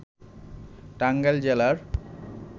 টাঙ্গাইল জেলার